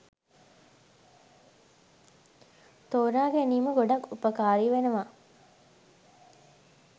තෝරාගැනීම ගොඩාක් උපකාරී වෙනවා.